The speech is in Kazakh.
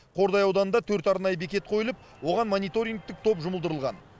қордай ауданында төрт арнайы бекет қойылып оған мониторингтік топ жұмылдырылған